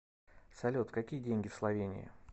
салют какие деньги в словении